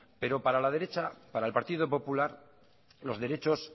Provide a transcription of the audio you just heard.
pero para la derecha para el partido popular los derechos